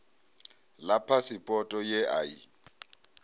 ḽa phasipoto ye a i